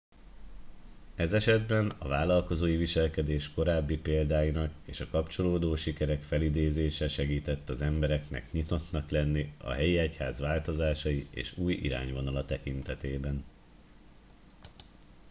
ez esetben a vállalkozói viselkedés korábbi példáinak és a kapcsolódó sikerek felidézése segített az embereknek nyitottnak lenni a helyi egyház változásai és új irányvonala tekintetében